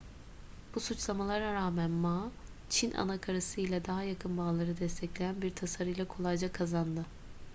bu suçlamalara rağmen ma çin anakarası ile daha yakın bağları destekleyen bir tasarıyla kolayca kazandı